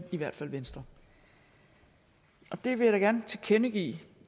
i hvert fald venstre jeg vil da gerne tilkendegive